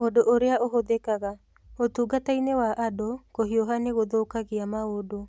Ũndũ ũrĩa ũhũthĩkaga: Ũtungata-inĩ wa andũ, kũhiũha nĩ gũthũkagia maũndũ